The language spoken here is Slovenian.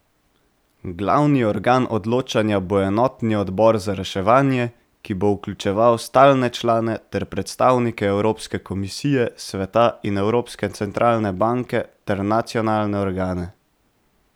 Glavni organ odločanja bo enotni odbor za reševanje, ki bo vključeval stalne člane ter predstavnike Evropske komisije, Sveta in Evropske centralne banke ter nacionalne organe.